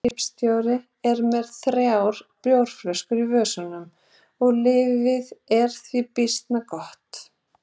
Skipstjórinn er með þrjár bjórflöskur í vösunum og lífið því býsna gott.